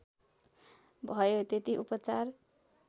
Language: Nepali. भयो त्यति उपचार